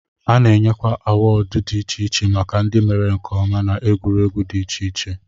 A na-enyekwa awọọd dị iche iche maka ndị mere nke ọma n'egwuregwu dị iche iche